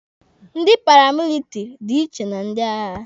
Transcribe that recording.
Ndị paramilitiri dị iche na ndị agha.